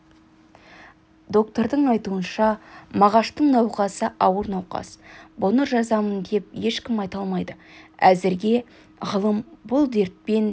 доктордың айтуынша мағаштың науқасы ауыр науқас бұны жазамын деп ешкім айта алмайды әзіргі ғылым бұл дертпен